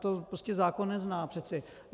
To prostě zákon nezná přece.